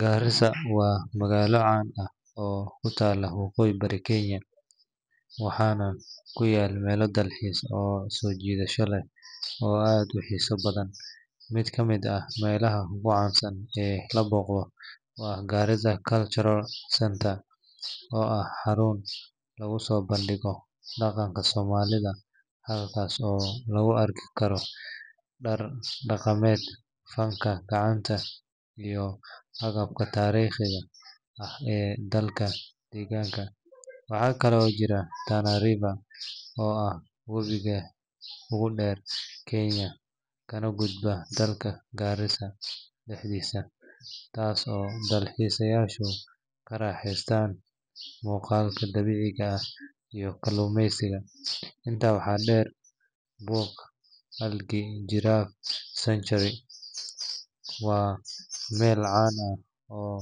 Garissa waa magaalo caan ah oo ku taalla waqooyi bari Kenya, waxaana ku yaal meelo dalxiis oo soo jiidasho leh oo aad u xiiso badan. Mid ka mid ah meelaha ugu caansan ee la booqdo waa Garissa Cultural Centre, oo ah xarun lagu soo bandhigo dhaqanka Soomaalida halkaas oo lagu arki karo dhar dhaqameed, fanka gacanta, iyo agabka taariikhiga ah ee dadka deegaanka. Waxaa kale oo jirta Tana River oo ah webiga ugu dheer Kenya kana gudba dhulka Garissa dhexdiisa, taas oo dalxiisayaashu ka raaxaystaan muuqaalka dabiiciga ah iyo kalluumeysiga. Intaa waxaa dheer, Bour-Algi Giraffe Sanctuary waa meel caan ah oo